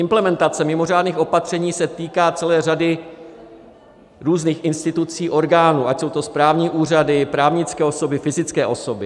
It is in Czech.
Implementace mimořádných opatření se týká celé řady různých institucí, orgánů, ať jsou to správní úřady, právnické osoby, fyzické osoby.